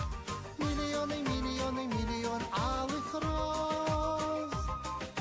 миллионы миллионы миллионы алых роз